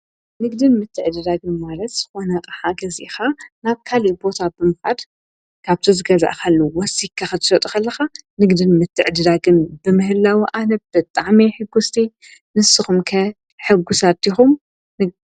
ንግድን ምትዕድዳግን ማለት ዝኮነ ኣቅሓ ገዚኢካ ናብ ካሊእ ቦታ ብምካድ ካብቲ ዝገዛእካሉ ወሲክካ ክትሸጦ እንተለካ ንግድን ምትዕድዳግን ብምህለው ኣነ ብጣዕሚ እየ ሕጉስቲ ንስኩም ከ ሕጉሳት ዲኩም?